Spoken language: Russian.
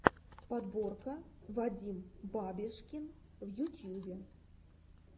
подборка вадим бабешкин в ютьюбе